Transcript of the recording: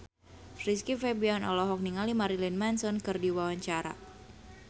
Rizky Febian olohok ningali Marilyn Manson keur diwawancara